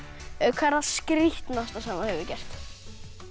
hvað er það skrítnasta sem þú hefur gert